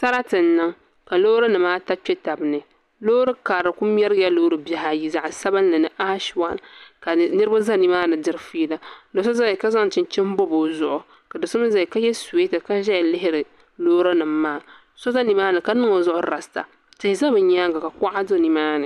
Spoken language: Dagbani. Sarati n niŋ ka loori nima ata kpetabani loori karili kuli mɛrigila loori bihi ayi zaɣa sabinli ni ashi wan ka niriba za nimaani diri fiila doso zala ni ka zaŋ chinchini bobi o zuɣu ka doso mi zaya ka ye siweta ka zaya lihiri loori nima maa so zanimaani ka niŋ o zuɣu rasta tihi za bɛ nyaanga ka kuɣa do nimaani.